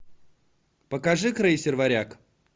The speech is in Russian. покажи крейсер варяг